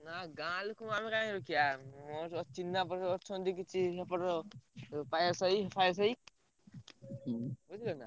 ନାଇଁ ଗାଁ ଲୋକ ମାନଙ୍କୁ କାଇଁ ରଖିଆ ମୋର ଯୋଉ ଚିହ୍ନାପରିଚୟ ଅଛନ୍ତି କିଛି ଏପଟର ପାୟାସାହି ଫାୟାସାହି ବୁଝିପାରିଲ ନାଁ?